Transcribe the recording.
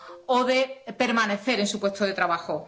o de permanecer en su puesto de trabajo.